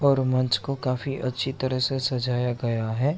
और मंच को काफी अच्छी तरह से सजाया गया है।